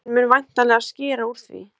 Tíminn mun væntanlega skera úr því.